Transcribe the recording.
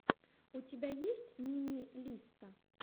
у тебя есть мими лисса